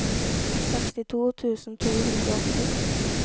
sekstito tusen to hundre og åtti